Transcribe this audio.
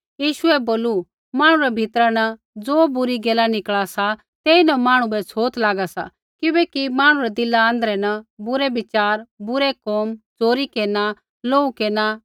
यीशुऐ बोलू मांहणु रै भीतरा न ज़ो बुरी गैला निकल़ा सा तेइन मांहणु बै छ़ोत लागा सा